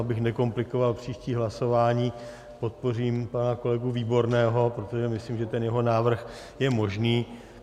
Abych nekomplikoval příští hlasování, podpořím pana kolegu Výborného, protože myslím, že ten jeho návrh je možný.